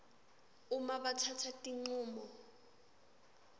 uma batsatsa tincumo